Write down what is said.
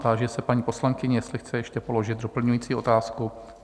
Táži se paní poslankyně, jestli chce ještě položit doplňující otázku?